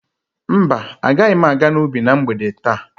Mba, agaghị m aga n'ubi na mgbede taa.